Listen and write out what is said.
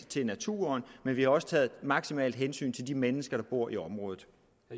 til naturen men vi har også taget maksimalt hensyn til de mennesker der bor i området